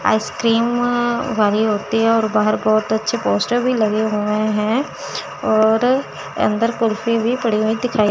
ice cream भरी होती है और बाहर बहुत अच्छे पोस्टर भी लगे हुए हैं और अंदर कुल्फी भी पड़ी हुई दिखाई --